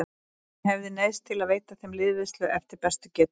Hann hafði neyðst til að veita þeim liðveislu eftir bestu getu.